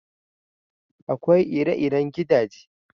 Akwai ire-iren gidaje.